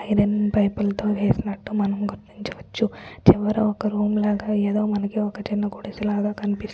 iron pipe లతో వేసినట్లు మనం గుర్తించవచ్చు ఎవ్వరో ఒక్క రూమ్ లాగా ఏదో మనకి ఒక్కచిన్న గుడిసి లాగా కనిపిస్ --